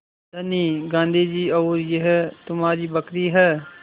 धनी गाँधी जी और यह तुम्हारी बकरी है